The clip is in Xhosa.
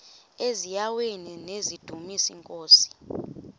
eziaweni nizidumis iinkosi